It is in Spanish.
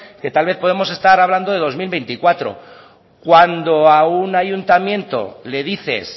que tal vez podemos estar hablando de dos mil veinticuatro cuando a un ayuntamiento le dices